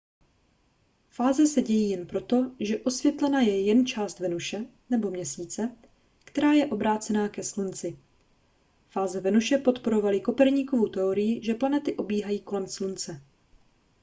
fáze se dějí jen proto že osvětlena je jen část venuše nebo měsíce která je obrácená ke slunci. fáze venuše podporovaly koperníkovu teorii že planety obíhají kolem slunce